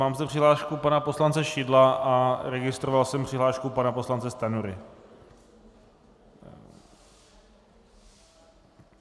Mám zde přihlášku pana poslance Šidla a registroval jsem přihlášku pana poslance Stanjury.